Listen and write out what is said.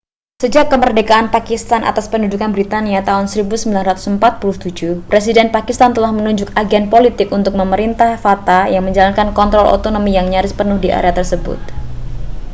sejak kemerdekaan pakistan atas pendudukan britania tahun 1947 presiden pakistan telah menunjuk agen politik untuk memerintah fata yang menjalankan kontrol otonomi yang nyaris penuh di area tersebut